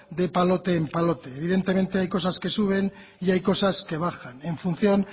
de palote en palote evidentemente hay cosas que suben y hay cosas que bajan en función